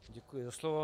Děkuji za slovo.